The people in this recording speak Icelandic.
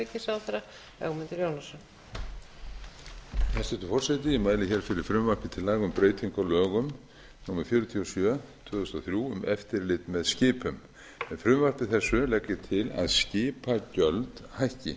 hæstvirtur forseti ég mæli hér fyrir frumvarpi til laga um breytingu á lögum númer fjörutíu og sjö tvö þúsund og þrjú um eftirlit með skipum með frumvarpi þessu legg ég til að skipagjöld hækki